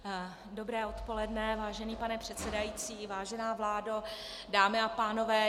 Dobré odpoledne, vážený pane předsedající, vážená vládo, dámy a pánové.